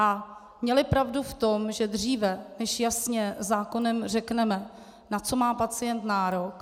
A měli pravdu v tom, že dříve, než jasně zákonem řekneme, na co má pacient nárok...